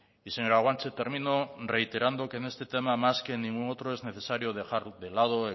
y señora guanche termino reiterando que en este tema más que en ningún otro es necesario dejar de lado